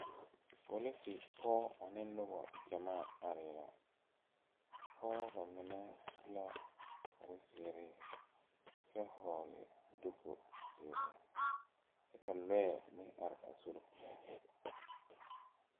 Polise pɔg ane nobɔ gyamaa aree la a pɔɔ ba mine subla kparezeere kyɛ hɔɔle duku zeere kyɛ ka lɔɛ meŋ are a sore poɔ.